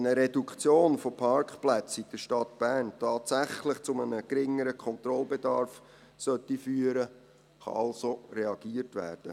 Wenn eine Reduktion der Parkplätze in der Stadt Bern tatsächlich zu einem geringeren Kontrollbedarf führen sollte, kann also reagiert werden.